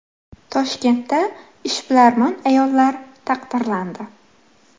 Toshkentda ishbilarmon ayollar taqdirlandi.